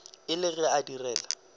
e le ge a direla